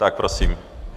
Tak prosím.